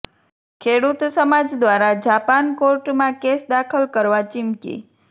ખેડૂત સમાજ દ્વારા જાપાન કોર્ટમાં કેસ દાખલ કરવા ચીમકી